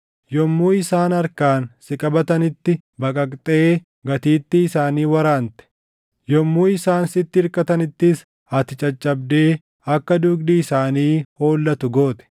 Yommuu isaan harkaan si qabatanitti baqaqxee gatiittii isaanii waraante; yommuu isaan sitti irkatanittis ati caccabdee akka dugdi isaanii hollatu goote.